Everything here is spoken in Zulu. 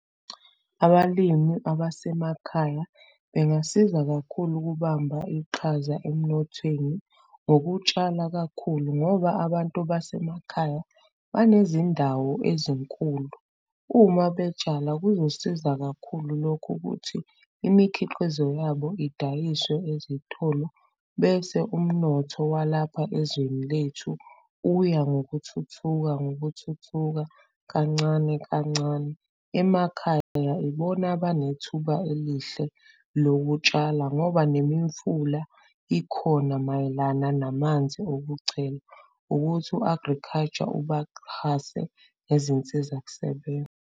Abalimi abasemakhaya bengasiza kakhulu ukubamba iqhaza emnothweni ngokutshala kakhulu ngoba abantu basemakhaya banezindawo ezinkulu, uma betshala kuzosiza kakhulu lokhu ukuthi imikhiqizo yabo idayiswe ezitolo bese umnotho walapha ezweni lethu uya ngokuthuthuka, ngokuthuthuka, kancane, kancane. Emakhaya ibona abane thuba elihle lokutshala ngoba nemimfula ikhona mayelana namanzi okuchela, ukuthi u-agriculture ubaxhase ngezinsizakusebenza.